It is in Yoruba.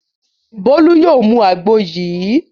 Bólú yóò mu àgbo yìí.